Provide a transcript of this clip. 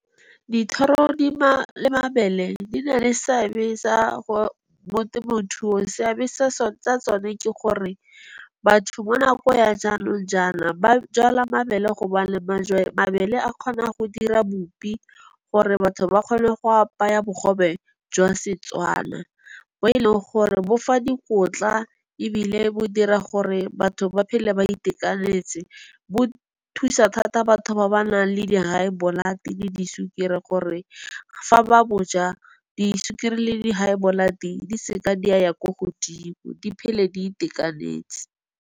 Dithoro le mabele di na le seabe mo temothuong, seabe sa tsone ke gore batho mo nako ya jaanong jaana ba jala mabele gobane, mabele a kgona go dira bupi gore batho ba kgone go apaya bogobe jwa Setswana, bo e leng gore bofa dikotla ebile bo dira gore batho ba phele ba itekanetse. Bo thusa thata batho ba ba nang le di-high blood le disukiri gore, fa ba boja disukiri le di-high blood di se ka di a ya ko godimo di phele di itekanetse.